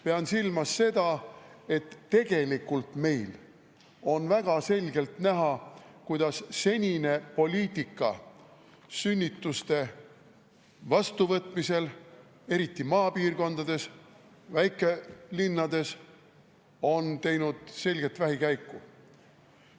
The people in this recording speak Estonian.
Pean silmas seda, et tegelikult meil on väga selgelt näha, kuidas senine poliitika sünnituste vastuvõtmisel, eriti maapiirkondades ja väikelinnades, on teinud ilmselget vähikäiku.